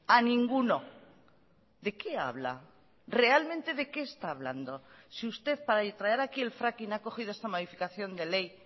a ninguno de qué habla realmente de qué está hablando si usted para traer aquí el fracking ha cogido esta modificación de ley